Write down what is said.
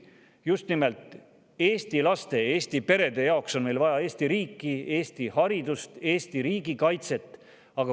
Just nimelt Eesti laste, Eesti perede jaoks on meil vaja Eesti riiki, Eesti haridust, Eesti riigi kaitset.